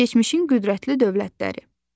Keçmişin qüdrətli dövlətləri.